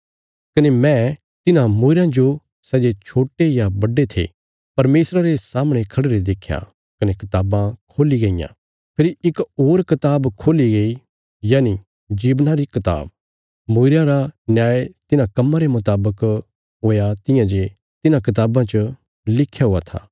कने मैं तिन्हां मूईरयां जो सै जे छोट्टे या बड्डे थे परमेशरा रे सामणे खढ़िरे देख्या कने कताबां खोल्ली गईयां फेरी इक होर कताब खोल्ली गई यनि जीवना री किताब मूईरयां रा न्याय तिन्हां कम्मां रे मुतावक हुया तियां जे तिन्हां कताबां च लिख्या हुया था